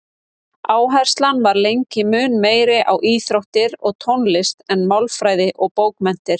Áherslan var lengi mun meiri á íþróttir og tónlist en málfræði og bókmenntir.